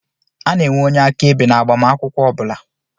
A na-enwe onye aka-ebe na agbamakwụkwọ ọbula.